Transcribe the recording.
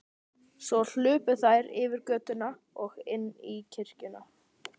Svo hlupu þær yfir götuna og inn í kirkjuna.